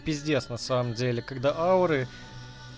пиздец на самом деле когда ауры